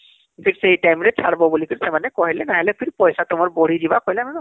ଠିକ ସେଇ time ରେ ଛାଡିବ ବୋଲି ସେମାନେ କହିଲେ ନହେଲେ ଫିର ପଇସା ତୁମର ବଢି ଯିବା କହିଲେ ...